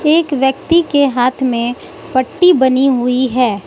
एक व्यक्ति के हाथ में पट्टी बनी हुई है।